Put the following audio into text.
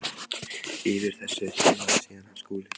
Yfir þessu trónaði síðan hann Skúli.